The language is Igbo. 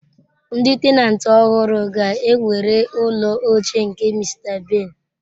Ndi tenantị ọhụrụ ga-ewere ụlọ ochie nke Mr. Ben.